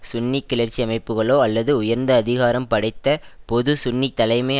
சுன்னி கிளர்ச்சி அமைப்புகளோ அல்லது உயர்ந்த அதிகாரம் படைத்த பொது சுன்னி தலைமை